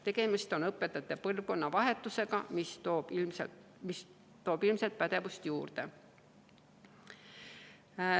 Praegu toimub õpetajate seas põlvkonnavahetus, mis toob ilmselt pädevust juurde.